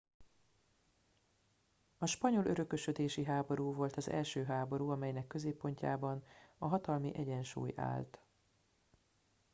a spanyol örökösödési háború volt az első háború amelynek középpontjában a hatalmi egyensúly állt